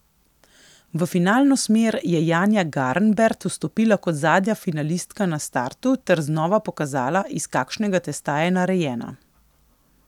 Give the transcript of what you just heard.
V finalno smer je Janja Garnbert vstopila kot zadnja finalistka na startu ter znova pokazala, iz kakšnega testa je narejena.